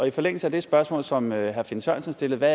i forlængelse af det spørgsmål som herre finn sørensen stillede